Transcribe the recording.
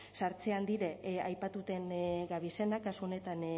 sartzen dire aipatuten gabizenak kasu honetan